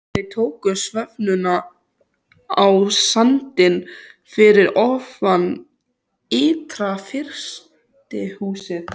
Þeir tóku stefnuna á sandinn fyrir ofan ytra-frystihúsið.